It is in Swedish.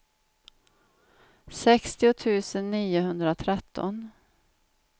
sextio tusen niohundratretton